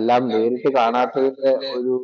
എല്ലാം നേരിട്ട് കാണാത്തതിന്‍റെ ഒരു